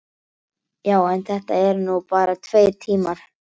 Það er víst snjallast að neita, vita ekkert, þegja.